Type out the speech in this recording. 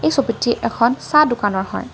ছবিটি এখন চাহ দোকানৰ হয়।